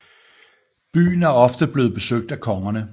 Byen er ofte bleven besøgt af kongerne